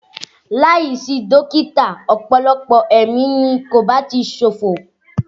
Láìsí dókítà ọ̀pọ̀lọpọ̀ ẹ̀mí ni kò bá ti ṣòfò